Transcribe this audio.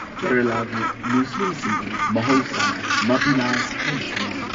ꯀꯦꯔꯂꯥꯒꯤ ꯃꯨꯁꯂꯤꯝꯁꯤꯡꯕꯨ ꯃꯍꯧꯁꯥꯅ ꯃꯞꯄꯤꯂꯥꯁ ꯍꯥꯏꯅ ꯈꯪꯅꯩ꯫